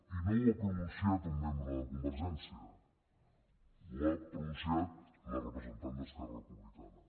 i no ho ha pronunciat un membre de convergència ho ha pronunciat la representant d’esquerra republicana